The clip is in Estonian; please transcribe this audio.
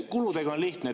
Kuludega on lihtne.